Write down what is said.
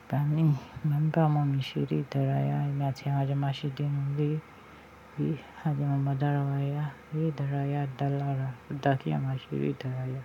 Ìgbà mìí, mo máa ń bá ọmọ mi ṣeré ìdárayá, èmi àti ẹ à jọ ma ṣeré nínú ilé à dé máa ma da ara wa yá. Eré ìdárayá dáa lára. Ó dáa kí èèyàn ma ṣe eré ìdárayá.